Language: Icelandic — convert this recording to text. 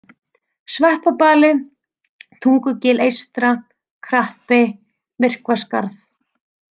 Sveppabali, Tungugil eystra, Krappi, Myrkvaskarð